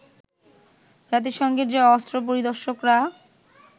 জাতিসংঘের যে অস্ত্র পরিদর্শকরা